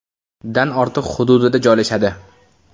dan ortiq hududida joylashadi.